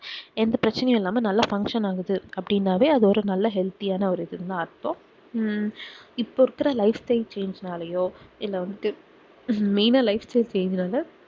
எந்த பிரச்சனைஇல்லாம நல்லா function ஆகுது அப்டினவே அது ஒரு நல்ல healthy ஆனா ஒரு இதுதான் அர்த்தம் உம் இப்ப இருக்குற life time change நாளையோ இல்லவந்துட்டு main ஆஹ் lifestylechange வந்து